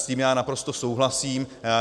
S tím já naprosto souhlasím.